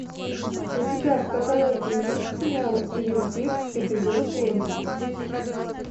у тебя в каталоге есть сериал твин пикс эпизод семь